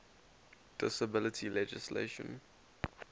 disability legislation